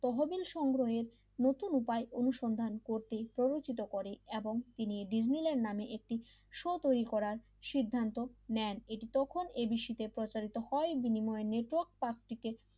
তহবিল সংগ্রহণে নতুন উপায় অনুসন্ধান করতে প্রলোচিত করে এবং তিনি ডিজনি ল্যান্ড নামে একটি শো তৈরি করার সিদ্ধান্ত নেন তখন এবিসি প্রচারিত হয় বিনিময় নেটওয়ার্ক প্রার্থীকে